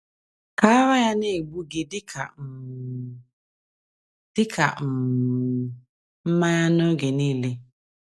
Ka ara ya na - egbu gị dị ka um dị ka um mmanya n’oge niile.